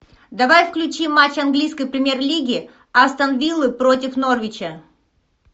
давай включи матч английской премьер лиги астон виллы против норвича